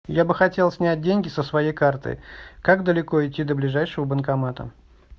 я бы хотел снять деньги со своей карты как далеко идти до ближайшего банкомата